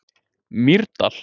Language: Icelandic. Mýrdal